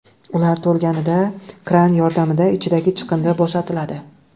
Ular to‘lganida kran yordamida ichidagi chiqindi bo‘shatiladi.